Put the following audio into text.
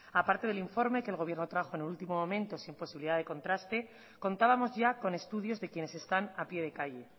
a parte del informe que el gobierno trajo en el último momento sin posibilidad de contraste contábamos ya con estudios de quienes están a pie de calle